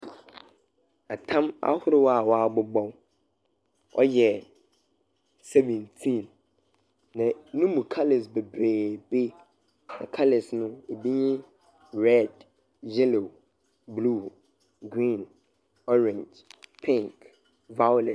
Tam ahorow a wɔabobɔw, ɔyɛ seventeen, na no mu colours beberebe. Na colours no, bi nye red, yellow, blue, green, orange, pink, violet.